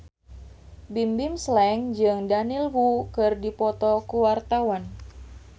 Bimbim Slank jeung Daniel Wu keur dipoto ku wartawan